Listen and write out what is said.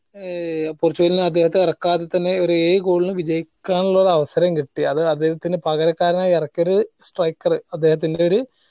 ഏർ പോർച്ചുഗലിന് അദ്ദേഹത്തിനെ എറക്കാതെ തന്നെ ഒരു ഏഴ് goal ന് വിജയിക്കാൻ ഉള്ളൊരു അവസരം കിട്ടി അത് അദ്ദേഹത്തിന് പകരക്കാരനായി എറക്കിയ ഒരു strikker അദ്ദേഹത്തിന്റെ ഒര്